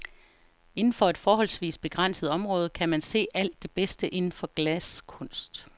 Indenfor et forholdsvis begrænset område kan man se alt det bedste inden for glaskunst.